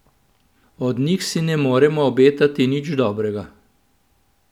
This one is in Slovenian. Od njih si ne moremo obetati nič dobrega.